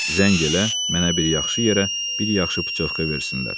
Zəng elə, mənə bir yaxşı yerə, bir yaxşı putyovka versinlər.